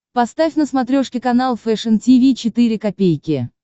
поставь на смотрешке канал фэшн ти ви четыре ка